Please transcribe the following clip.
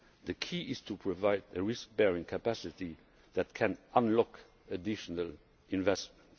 The key is to provide a risk bearing capacity that can unlock additional investment.